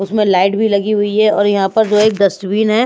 उसमें लाइट भी लगी हुई है और यहाँ पर जो एक दस्तवीन है।